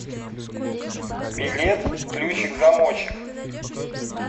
билет ключик замочек